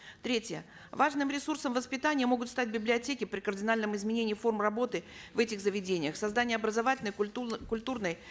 третье важным ресурсом воспитания могут стать библиотеки при кардинальном изменении форм работы в этих заведениях создание образовательной культурной